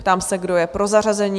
Ptám se, kdo je pro zařazení?